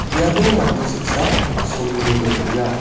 iano mande saksa asonge dongenga.